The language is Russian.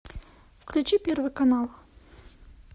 включи первый канал